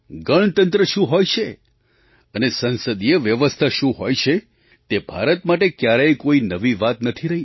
ગણતંત્ર શું હોય છે અને સંસદીય વ્યવસ્થા શું હોય છે તે ભારત માટે ક્યારેય કોઈ નવી વાત નથી રહી